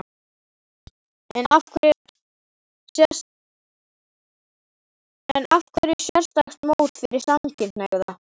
En af hverju sérstakt mót fyrir samkynhneigða?